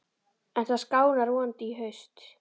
En það skánar vonandi í haust.